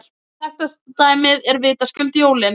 Þekktasta dæmið er vitaskuld jólin.